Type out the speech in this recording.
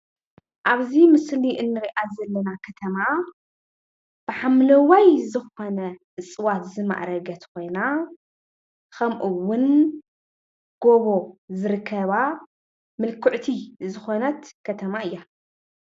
ኣብዚ ምስሊ እንሪኣ ዘለና ከተማ ብሓምለዋይ ዝኮነ እፅዋት ዝማዕረገት ኮይና ከምኡ እውን ጎቦ ዝርከባ ምልክዕቲ ዝኮነት ከተማ እያ፡፡